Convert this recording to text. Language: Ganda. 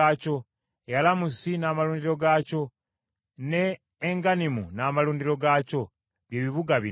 Yalamusi n’amalundiro gaakyo, ne Engannimu n’amalundiro gaakyo, bye bibuga bina,